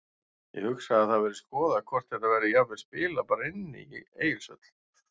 Ég hugsa að það verði skoðað hvort þetta verði jafnvel spilað bara inni í Egilshöll.